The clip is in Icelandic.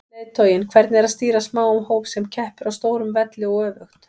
Leiðtoginn, hvernig er að stýra smáum hóp sem keppir á stórum velli og öfugt?